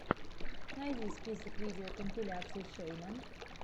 найди список видеокомпиляций шейна